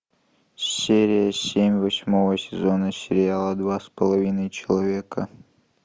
серия семь восьмого сезона сериала два с половиной человека